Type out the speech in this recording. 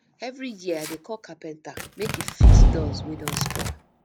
every year i dey call carpenter make e fix doors wey don spoil